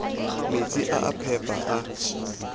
metsi a a phepa a